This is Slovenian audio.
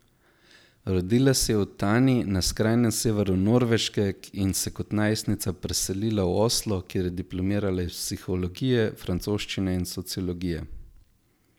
Rodila se je v Tani na skrajnem severu Norveške in se kot najstnica preselila v Oslo, kjer je diplomirala iz psihologije, francoščine in sociologije.